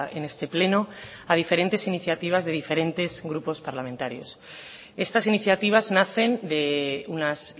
en este pleno a diferentes iniciativas de diferentes grupos parlamentarios estas iniciativas nacen de unas